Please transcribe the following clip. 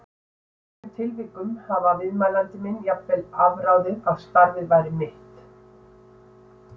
Í einhverjum tilvikum hafði viðmælandi minn jafnvel afráðið að starfið væri mitt.